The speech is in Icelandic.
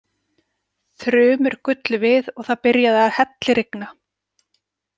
Þrumur gullu við og það byrjaði að hellirigna.